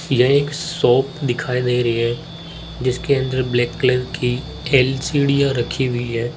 यह एक शॉप दिखाई दे रही है जिसके अंदर ब्लैक कलर की एल_सी डियां रखी हुई है।